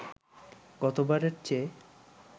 গতবারের চেয়ে